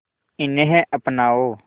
इन्हें अपनाओ